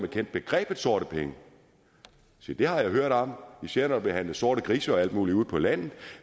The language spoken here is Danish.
kendte begrebet sorte penge se det har jeg hørt om især når der bliver handlet sorte grise og alt muligt ude på landet